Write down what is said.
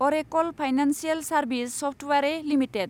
Arekal financial services software limited